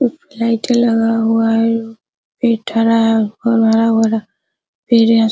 लाइटे लगा हुआ है हरा है और हरा-भरा पेड़ है।